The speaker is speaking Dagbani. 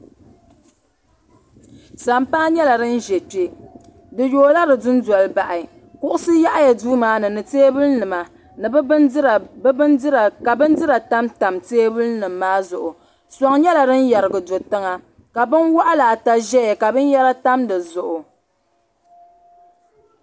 Sampaa yɛla dini zɛ kpɛ bi yoo la di dunoli bahi kuɣisi yaɣiya duu maani ni tɛɛbuli nima ka bini dira tamtam tɛɛbuli nim maa zuɣu sɔŋ yɛla dini yɛrigi do tiŋa ka bin wɔɣila ata zɛya ka bini yara tam di zuɣu.